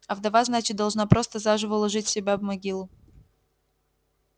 а вдова значит должна просто заживо уложить себя в могилу